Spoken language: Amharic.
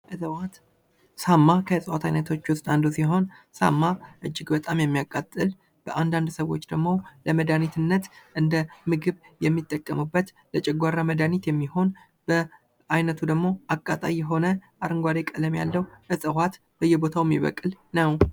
የ እጽዋት ሳማ ሳማ ከእፅዋት አይነቶች ውስጥ አንድ ሲሆን ሳማ ጅግ በጣም የሚያቃጥል አንዳንድ ሰዎች ደግሞ ለመድሀኒትነት እንደ ምግብ የሚጠቀሙበት ለጨጓራ መድኃኒት የሚሆን በዓይነቱ ደግሞ አቃጣይ የሆነ አረንጓዴ ቀለም ያለው እዋት በየቦታው የሚበቅል ነው ።